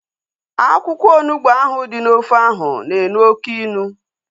Akwụkwọ onugbu ahu dị n'ofe ahu na-elu oké ilu